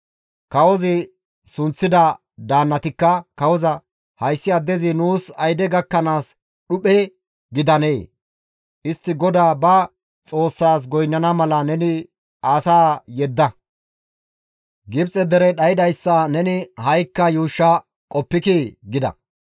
Kawozi sunththida daannatikka kawoza, «Hayssi addezi nuus ayde gakkanaas dhuphe gidanee? Istti GODAA ba Xoossaas goynnana mala neni asaa yedda; Gibxe derey dhaydayssa neni ha7ikka yuushsha qoppikii?» gida.